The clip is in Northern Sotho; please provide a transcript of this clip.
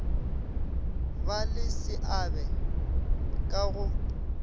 ba le seabe ka go